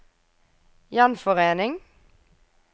gjenforening